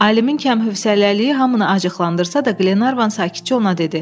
Alimin kəmhəsələliyi hamını acıqlandırsa da, Glenarvan sakitcə ona dedi: